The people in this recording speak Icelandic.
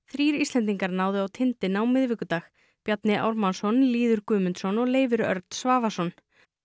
þrír Íslendingar náðu á tindinn á miðvikudag Bjarni Ármannsson Lýður Guðmundsson og Leifur Örn Svavarsson